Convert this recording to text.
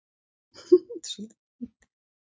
Vilmenhart, lækkaðu í græjunum.